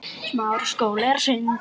Hún horfði á Örn.